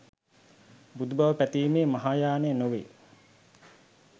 බුදු බව පැතීමේ මහායානය නොවේ